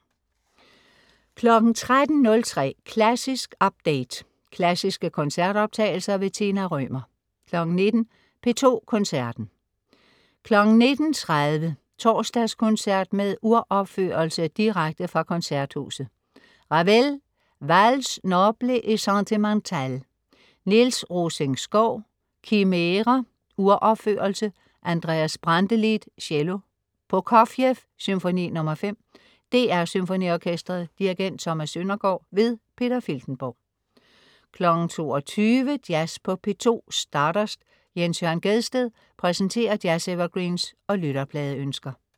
13.03 Klassisk update. Klassiske koncertoptagelser. Tina Rømer 19.00 P2 Koncerten. 19.30 Torsdagskoncert med uropførelse. Direkte fra Koncerthuset. Ravel: Valses nobles et sentimentales. Niels Rosing-Schow: Chimere. Uropførelse. Andreas Brantelid, cello. Prokofjev: Symfoni nr. 5. DR SymfoniOrkestret. Dirigent: Thomas Søndergård. Peter Filtenborg 22.00 Jazz på P2. Stardust. Jens Jørn Gjedsted præsenterer jazz-evergreens og lytterpladeønsker